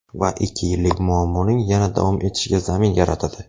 Va ikki yillik muammoning yana davom etishiga zamin yaratadi.